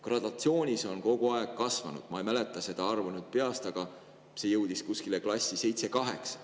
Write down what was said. Gradatsioonis on see kogu aeg kasvanud, ma ei mäleta seda arvu peast, aga see jõudis klassi seitse kuni kaheksa.